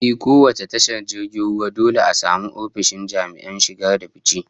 Ehh, kowace tashar jirgin ruwa dole a samu ofishin jami'an shige da fice